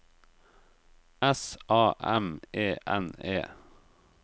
S A M E N E